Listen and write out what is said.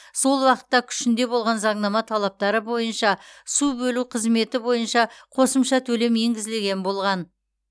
сол уақытта күшінде болған заңнама талаптары бойынша су бөлу қызметі бойынша қосымша төлем енгізілген болған